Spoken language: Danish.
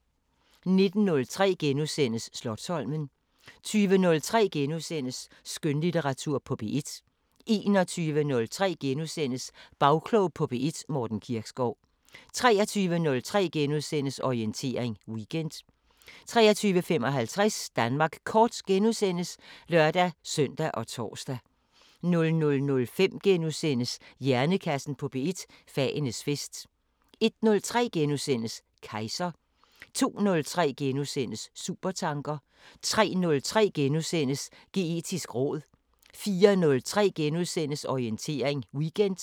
19:03: Slotsholmen * 20:03: Skønlitteratur på P1 * 21:03: Bagklog på P1: Morten Kirkskov * 23:03: Orientering Weekend * 23:55: Danmark kort *(lør-søn og tor) 00:05: Hjernekassen på P1: Fagenes fest * 01:03: Kejser * 02:03: Supertanker * 03:03: Geetisk råd * 04:03: Orientering Weekend *